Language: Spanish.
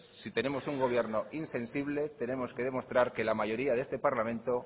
si tenemos un gobierno insensible tenemos que demostrar que la mayoría de este parlamento